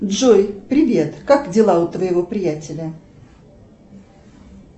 джой привет как дела у твоего приятеля